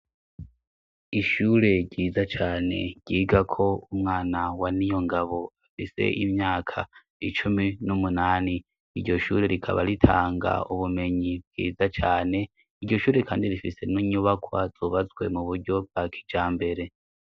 Ishure ryiza cane ryigako umwana wa Niyongabo afise imyaka icumi n'umunani iryo shure rikaba ritanga ubumenyi bwiza cane iryo shure kandi rifise n'inyubakwa zubazwe mu buryo bwa kijambere.